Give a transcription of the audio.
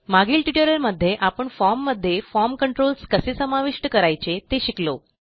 मागील ट्युटोरियलमध्ये आपण फॉर्म मध्ये फॉर्म कंट्रोल्स कसे समाविष्ट करायचे ते शिकलो